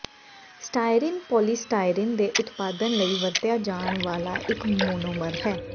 styrene polystyrene ਦੇ ਉਤਪਾਦਨ ਲਈ ਵਰਤਿਆ ਜਾਣ ਵਾਲਾ ਇਕ ਮੋਨੋਮਰ ਹੈ